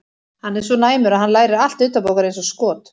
Hann er svo næmur að hann lærir allt utanbókar eins og skot.